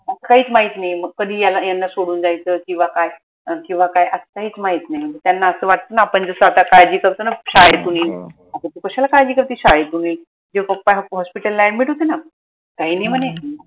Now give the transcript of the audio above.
काहीच माहित नाई कधी यांना सोडून द्यायचं किंव्हा काय अं किंव्हा काय असं काहीच माहित नाई त्यांना असं वाटत ना आपन जस आता काळजी करतो ना कश्याला काळजी करते शाळेतून यायची जेव्हा papa hospital ला admit होते न काई नाई म्हने